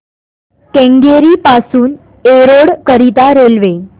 केंगेरी पासून एरोड करीता रेल्वे